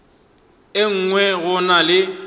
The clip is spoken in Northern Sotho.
e nngwe go na le